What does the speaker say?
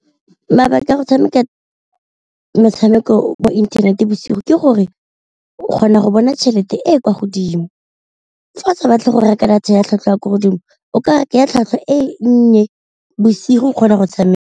Mabaka a go tshameka metshameko mo inthanete bosigo ke gore o kgona go bona tšhelete e e kwa godimo, fa tsa batle go reka data ya tlhwatlhwa ya ko godimo o ka reka ya tlhwatlhwa e nnye bosigo o kgona go tshameka.